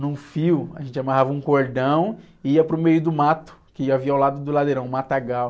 Num fio, a gente amarrava um cordão e ia para o meio do mato, que havia ao lado do ladeirão, o matagal.